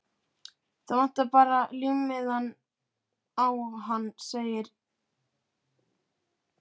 Það vantar bara límmiðann á hann sem segir